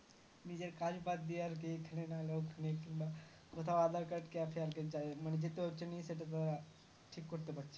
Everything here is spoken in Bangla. নিজের কাজ বাদ দিয়ে আর কি এখানে নাহলে ওখানে কিনবা কোথাও aadhar card cafe কিনতে হবে মানে যেতে হচ্ছে নিয়ে সেইটা ঠিক করতে পারছেনা